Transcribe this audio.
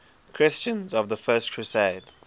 christians of the first crusade